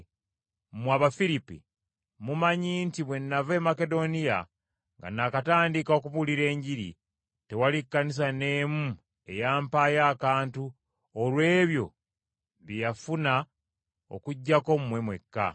Mmwe, Abafiripi, mumanyi nti bwe nava e Makedoniya nga nakatandika okubuulira Enjiri, tewali Kkanisa n’emu eyampaayo akantu olw’ebyo bye yafuna okuggyako mmwe mwekka.